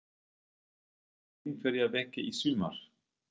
Býst hann við að rekast á einhverja veggi í sumar?